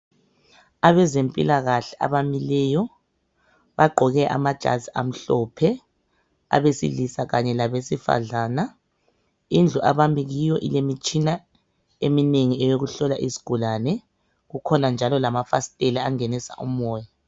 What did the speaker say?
Abezempilakahle abamileyo bagqoke amajazi amhlophe abesilisa kanye labesifazana indlu abami kiyo ilemitshina eminengi eyokuhlola izigulane kukhona njalo amafasitela angenisa umoya .